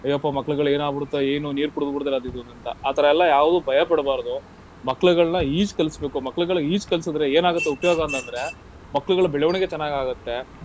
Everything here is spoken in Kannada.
ಅಯ್ಯಪ್ಪ ಮಕ್ಳ್ಗಳಿಗೇನಾಗ್ಬಿಡತ್ತೆ ಏನು ನೀರ್ ಕುಡ್ದ್ ಬಿಡ್ತಾರೆ ಅದಿದೂಂತ. ಆತರ ಎಲ್ಲಾ ಯಾವ್ದೂ ಭಯ ಪಡ್ಬಾರ್ದು. ಮಕ್ಳ್ಗಳನ್ನ ಈಜ್ ಕಲಸ್ಬೇಕು. ಮಕ್ಳ್ಗಳಿಗೆ ಈಜ್ ಕಲ್ಸಿದ್ರೆ ಏನಾಗತ್ತೆ ಉಪಯೋಗ ಅಂತಂದ್ರೆ, ಮಕ್ಳ್ಗಳ ಬೆಳವಣಿಗೆ ಚೆನಾಗಾಗತ್ತೆ.